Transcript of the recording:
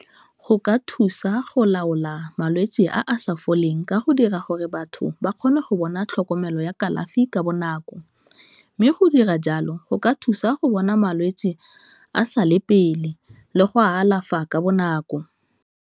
Go ka thusa go laola malwetse a a sa foleng ka go dira gore batho ba kgone go bona tlhokomelo ya kalafi ka bonako, mme go dira jalo go ka thusa go bona malwetse a sale pele le go a alafa ka bonako.